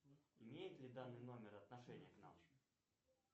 имеет ли данный номер отношение к нам